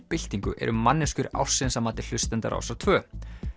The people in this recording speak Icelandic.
byltingu eru manneskjur ársins að mati hlustenda Rásar tvö